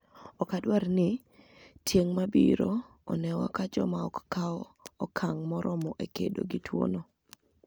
Ok wadwar ni tienig' ma biro oni ewa ka joma ok kaw okanig' moromo e kedo gi tuwono".